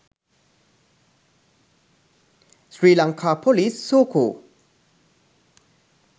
sri lanka police soco